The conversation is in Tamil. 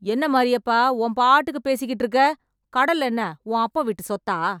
என்ன மாரியப்பா உன் பாட்டுக்கு பேசிட்டு இருக்க , கடல் என்ன உன் அப்பன் வீட்டு சொத்தா.